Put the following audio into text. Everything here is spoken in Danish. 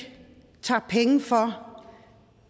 tager penge for